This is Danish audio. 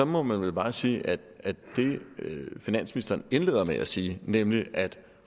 må man vel bare sige at det finansministeren indleder med at sige nemlig at